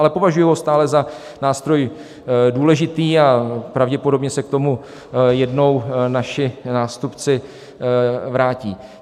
Ale považuji ho stále za nástroj důležitý a pravděpodobně se k tomu jednou naši nástupci vrátí.